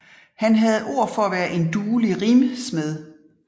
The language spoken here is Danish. Han havde ord for at være en duelig rimsmed